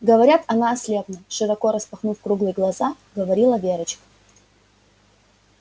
говорят она ослепла широко распахнув круглые глаза говорила верочка